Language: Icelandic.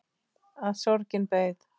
Að sorgin beið.